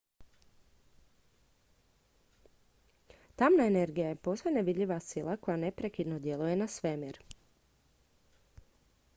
tamna energija je posve nevidljiva sila koja neprekidno djeluje na svemir